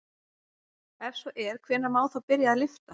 Ef svo er hvenær má þá byrja að lyfta?